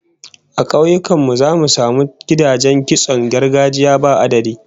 A kauyukan mu zaka samu gidajen kitson gargajiya ba adadi